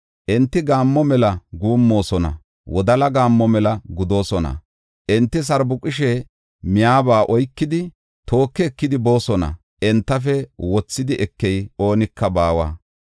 Enti gaammo mela guummoosona; wodala gaammo mela gudoosona. Enti sarbuqishe miyaba oykidi, tooki ekidi boosona; entafe wothidi ekey oonika baawa.